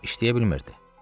İşləyə bilmirdi.